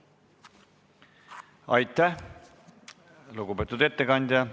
Aitäh, lugupeetud ettekandja!